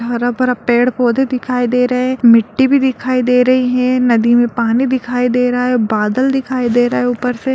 हरा-भरा पेड़-पौधे दिखाई दे रहे हैं मिट्टी भी दिखाई दे रही हैं नदी में पानी दिखाई दे रहा है बादल दिखाई दे रहा है ऊपर से।